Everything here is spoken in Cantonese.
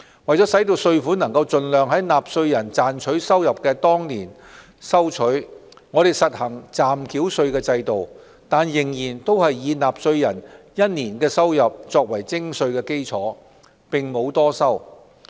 為盡量在納稅人賺取收入的當年收取稅款，我們實行暫繳稅制度，但仍是以納稅人1年的收入作為徵稅基礎，並沒有多收。